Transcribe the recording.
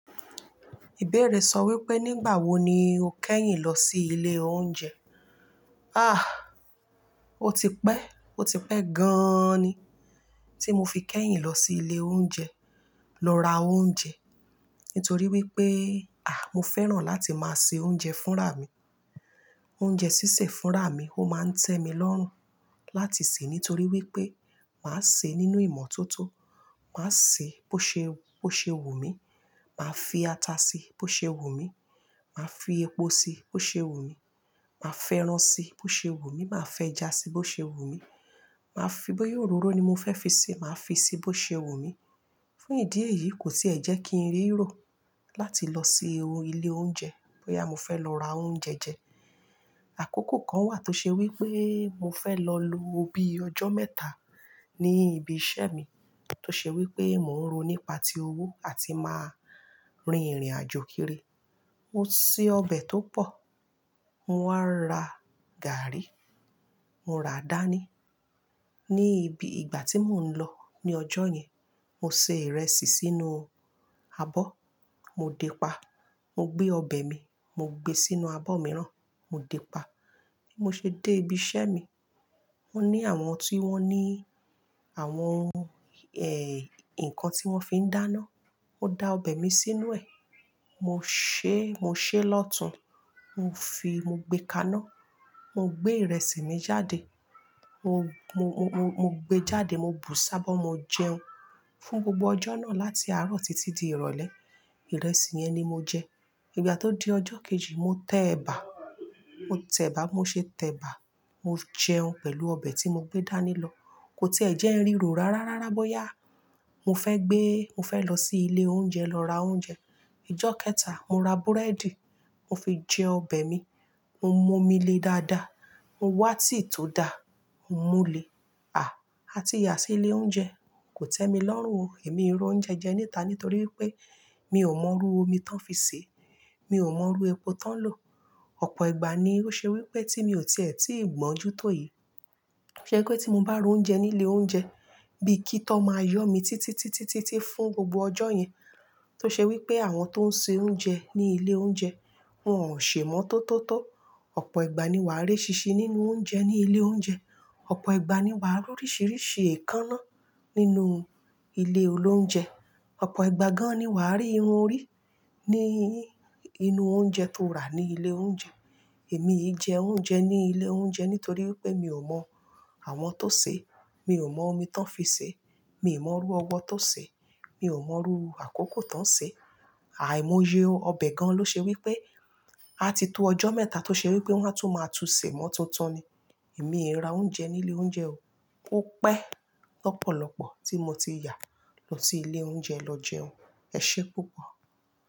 Ìbéèrè sọ wípé nígbà wo ni o kẹ́yìn lọ sí ilé oúnjẹ? Ah! Ó ti pẹ́, ó ti pẹ́ gan ni tí mo fi kẹ́yìn lọ sí ilé oúnjẹ lọ ra oúnjẹ. Nítorí wípé, à, mo fẹ́ràn láti máa sè oúnjẹ fún rà mí. Oúnjẹ sísè fún rà mí ó máa ń tẹ́ mi lọ́rùn láti sè nítorí wípé màá sè nínú ìmọ̀ tó tó. Màá sè bó ṣe, bó ṣe wù mí, màá fi ata sí i bó ṣe wù mí, màá fi epo sí i bó ṣe wù mí, màá fẹ́ràn si bó ṣe wù mí, màá fẹ́ ẹja sí i bó ṣe wù mí, màá fi bóyá òróró ni mo fẹ́ fi sè, màá fi i sè bó ṣe wù mí. Fún ìdí èyí kò tíì ẹ jẹ́ kí n rí ìró láti lọ sí ilé oúnjẹ bóyá mo fẹ́ lọ ra oúnjẹ jẹ. Àkókò kan wà tó ṣe wípé mo fẹ́ lọ lo bíi ọjọ́ mẹ́ta ní ibi iṣẹ́ mi tó ṣe wípé mò ń ro nípa ti owó a ti máa rin ìrìnàjò kiri. Mo sè ọbẹ̀ tó pọ̀, mo wá ra gààrí, mo raà dání. Ni ibi ìgbà tí mò ń lọ ní ọjọ́ yẹn, mo se ìrẹsì sínú abọ́, mo dé pa. Mo gbé ọbẹ̀ mi, mo gbe sínú abọ́ mìíràn, mo dé pa. Bí mo ṣe dé ibi iṣẹ́ mi, mo ní àwọn tí wọ́n ní àwọn, ẹ́, nǹkan tí wọ́n fi ń dáná. Mo da ọbẹ̀ mi sínú ẹ̀. Mo sè, mo sè lọ́tùn, mo fi, mo gbe kaná, mo gbé ìrẹsì mi jáde. Mo, mo, mo, mo gbe jáde, mo bù saabọ̀, mo jẹun. Fún gbogbo ọjọ́ náà láti àárọ̀ títí di ìrọ̀lẹ́, ìrẹsì yẹn ni mo jẹ. Ìgbà tó di ọjọ́ kejì mo tẹ̀ebà, mo tẹ̀ebà, mo ṣe tẹ̀ebà, mo jẹun pẹ̀lú ọbẹ̀ tí mo gbé dání lọ. Kò tíì ẹ jẹ́ n rí ìró rárá rárá bóyá mo fẹ́ gbé, mo fẹ́ lọ sí ilé oúnjẹ lọ ra oúnjẹ. Ọjọ́ kẹta, mo ra búrẹ́dì, mo fi jẹ ọbẹ̀ mi, mo mu omi le dáadáa, mo wá tea tòó dà, mo múlẹ̀. À, a ti ya sí ilé oúnjẹ, kò tẹ́mi lọ́rùn o. Èmi ò r'oúnjẹ jẹ nìta nítorí wípé mi ò mọ̀ ru omi tán fi sè, mi ò mọ̀ ru epo tán lò. Ọ̀pọ̀ ìgbà ni ó ṣe wípé tí mi ò tíì ẹ ti gbọ́njú tòyìi. Ṣe kó tí mo bá ro oúnjẹ ní ilé oúnjẹ bí i kí tọ máa yọ̀ mí títí, títí, títí fún gbogbo ọjọ́ yẹn. Tó ṣe wípé àwọn tó ń ṣe oúnjẹ ní ilé oúnjẹ wọ́n ò sè imọ́tótó tó. Ọ̀pọ̀ ìgbà ni wàá rí eṣínṣin nínú oúnjẹ ní ilé oúnjẹ. Ọ̀pọ̀ ìgbà ni wàá rí oríṣìíríṣìí èékánná nínú ilé olóúnjẹ. Ọ̀pọ̀ ìgbà gan-an ni wà á rí irun orí ní inú oúnjẹ tó rà ní ilé oúnjẹ. Èmi ì jẹ oúnjẹ ní ilé oúnjẹ nítorí wípé mi ò mọ̀ àwọn tó sè, mi ò mọ̀ omi tán fi sè, mi ò mọ̀ rú ọwọ́ tó sè, mi ò mọ̀ rú àkókò tán sè. Àì mọye ọbẹ̀ gan-an ló ṣe wípé a ti tó ọjọ́ mẹ́ta tó ṣe wípé wọ́n á tún máa tú sè mo tuntun ni. Èmi ì ra oúnjẹ ní ilé oúnjẹ o. Ó pẹ́ lọ́pọ̀lọ́pọ̀ tí mo ti yà lọ sí ilé oúnjẹ lọ jẹun. Ẹ ṣé púpọ̀.